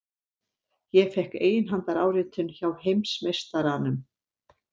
Ég fékk eiginhandaráritun hjá heimsmeistaranum!